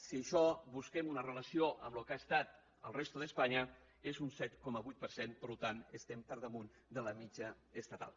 si d’això busquem una relació amb el que ha estat a la resta d’espanya és un set coma vuit per cent per tant estem per damunt de la mitjana estatal